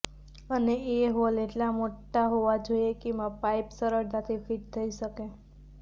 અને એ હોલ એટલા મોટા હોવા જોઈએ કે એમાં પાઇપ સરળતાથી ફિટ થઇ શકે